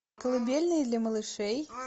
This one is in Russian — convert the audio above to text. колыбельные для малышей